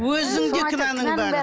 өзіңде кінәнің бәрі